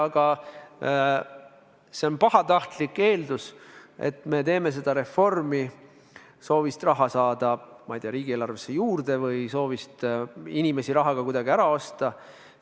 Aga see on pahatahtlik eeldus, et me teeme seda reformi soovist raha riigieelarvesse juurde saada või soovist inimesi rahaga kuidagi ära osta.